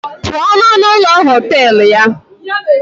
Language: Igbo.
Apụọ n'ọnụ ụlọ họtel ya!